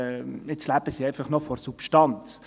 Jetzt leben sie einfach noch von der Substanz.